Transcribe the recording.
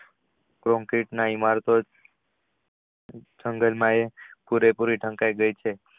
ઇમારતો જાગો માં એ પુરે પુરી ઢંકાય ગયા હતી.